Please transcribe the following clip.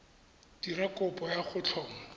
dira kopo ya go tlhoma